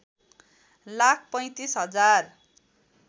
लाख ३५ हजार